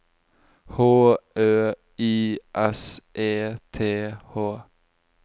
H Ø I S E T H